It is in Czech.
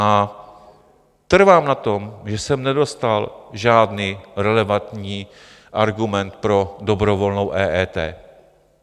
A trvám na tom, že jsem nedostal žádný relevantní argument pro dobrovolnou EET.